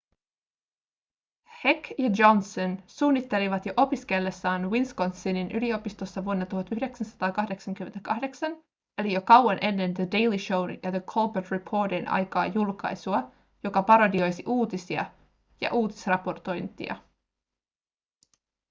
heck ja johnson suunnittelivat jo opiskellessaan wisconsinin yliopistossa vuonna 1988 eli jo kauan ennen the daily show'n ja the colbert reportin aikaa julkaisua joka parodioisi uutisia ja uutisraportointia